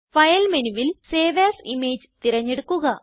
file മെനുവിൽ save as image തിരഞ്ഞെടുക്കുക